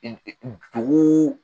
dugu